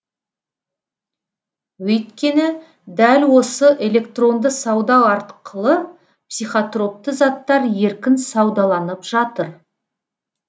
өйткені дәл осы электронды сауда арқылы психотропты заттар еркін саудаланып жатыр